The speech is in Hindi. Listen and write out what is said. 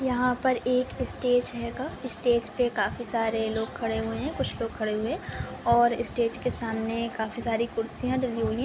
यहाँ पर एक स्टेज हेगा स्टेज पे काफी सारे लोग खड़े हुए हैं कुछ लोग खड़े हुए हैं और स्टेज के सामने काफी सारी खुर्सीया डली हुई हैं।